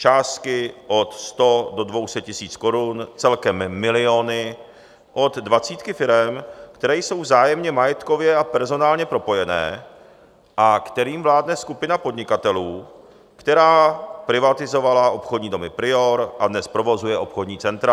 Částky od 100 do 200 tisíc korun, celkem miliony od dvacítky firem, které jsou vzájemně majetkově a personálně propojené a kterým vládne skupina podnikatelů, která privatizovala obchodní domy Prior a dnes provozuje obchodní centra.